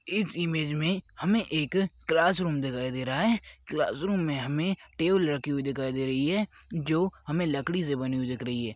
इस इमेज मे हमे एक क्लासरूम दिखाई दे रहा है क्लासरूम मे हमे टेबल रखी हुई दिखाई दे रही है जो हमें लकड़ी से बनी हुई दिख रही है।